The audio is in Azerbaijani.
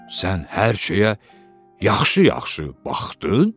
Sən hər şeyə yaxşı-yaxşı baxdın?